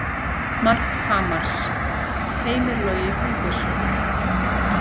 Mark Hamars: Heimir Logi Guðbjörnsson